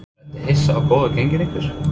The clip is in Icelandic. Ertu hissa á góðu gengi ykkar?